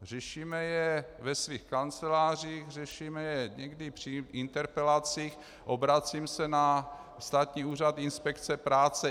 Řešíme je ve svých kancelářích, řešíme je někdy při interpelacích, obracím se na Státní úřad inspekce práce.